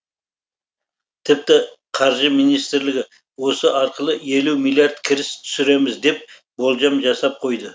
тіпті қаржы министрлігі осы арқылы елу миллиард кіріс түсіреміз деп болжам жасап қойды